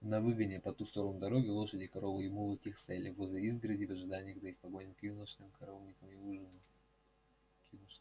на выгоне по ту сторону дороги лошади коровы и мулы тихо стояли возле изгороди в ожидании когда их погонят к конюшням коровникам и к ужину